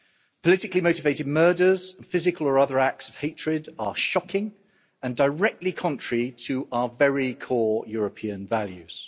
Politically motivated murders, physical or other acts of hatred are shocking and directly contrary to our very core European values.